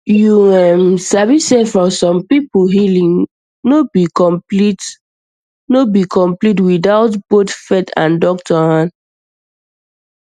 you um sabi sey for some people healing no be complete without um both um faith and doctor hand